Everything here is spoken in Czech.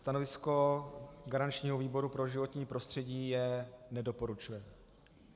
Stanovisko garančního výboru pro životní prostředí je: nedoporučuje.